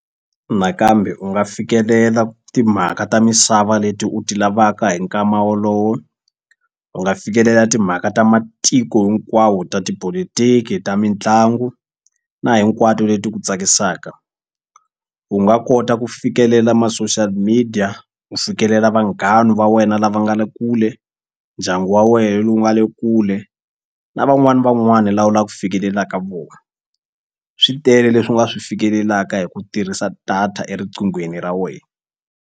Nakambe u nga fikelela timhaka ta misava leti u ti lavaka hi nkama wolowo u nga fikelela timhaka ta matiko hinkwawo ta tipolotiki ta mitlangu na hinkwato leti ku tsakisaka u nga kota ku fikelela ma-social media u fikelela vanghana va wena lava nga le kule ndyangu wa wehe lowu nga le kule na van'wani ni van'wani la u la ku fikelelaka vo swi tele leswi u nga swi fikelelaka hi ku tirhisa data eriqinghweni ra wena.